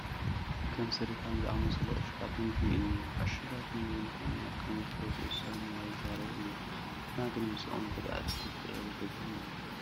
ከም ስሪፋም ዝኣምሰሉ ዕሹጋት ምግብታት እኔው፡፡ ዕሹጋጥ ምግብታት ንጥዕና ከምዝጐድኡ ሰብ ሞያ ይዛረቡ እዮም፡፡ ንሕና ግን ምስዞም ጐዳእትና ፍቕሪ ሒዙና ኣሎ፡፡